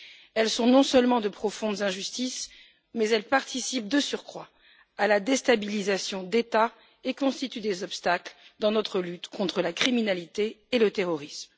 Elles sont non seulement de profondes injustices, mais elles participent de surcroît à la déstabilisation d'États et constituent des obstacles dans notre lutte contre la criminalité et le terrorisme.